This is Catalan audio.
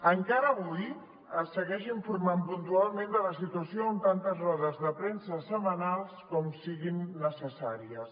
encara avui es segueix informant puntualment de la situació amb tantes rodes de premsa setmanals com siguin necessàries